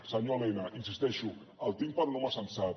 senyor elena hi insisteixo el tinc per un home sensat